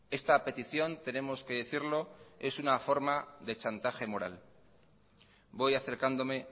esta petición tenemos que decirlo es una forma de chantaje moral voy acercándome